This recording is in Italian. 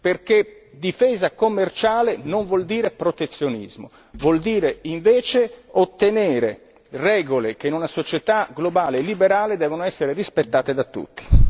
perché difesa commerciale non vuol dire protezionismo, vuol dire invece ottenere regole che in una società globale liberale devono essere rispettate da tutti.